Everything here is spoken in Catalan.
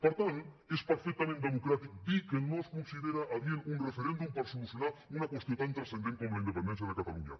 per tant és perfectament democràtic dir que no es considera adient un referèndum per solucionar una qüestió tan transcendent com la independència de catalunya